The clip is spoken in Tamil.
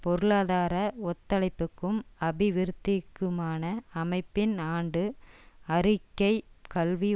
பொருளாதார ஒத்துழைப்புக்கும் அபிவிருத்திக்குமான அமைப்பின் ஆண்டு அறிக்கை கல்வி